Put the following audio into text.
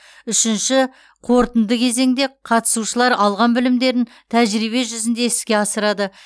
үшінші қорытынды кезеңде қатысушылар алған білімдерін тәжірибе жүзінде іске асырады